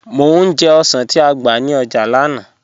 Mọ̀ ní jẹ̀ ọ̀ṣàn ti á gba ní ọ́jà lánà